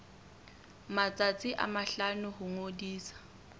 matsatsi a mahlano ho ngodisa